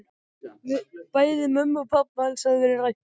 Bæði mömmu og pabba hans hafði verið rænt.